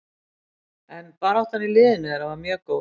En baráttan í liðinu þeirra var mjög góð.